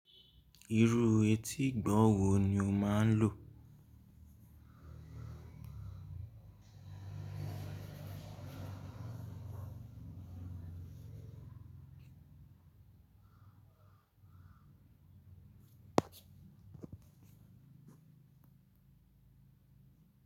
Irú etí ìgbọ̀wọ́ wo ni o máa ń lò?